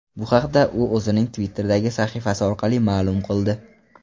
Bu haqda u o‘zining Twitter’dagi sahifasi orqali ma’lum qildi .